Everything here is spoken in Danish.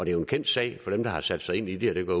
er jo en kendt sag for dem der har sat sig ind i det og det